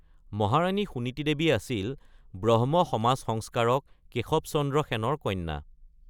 মহাৰাণী সুনীতি দেৱী আছিল ব্ৰহ্ম সমাজ সংস্কাৰক কেশৱ চন্দ্ৰ সেনৰ কন্যা।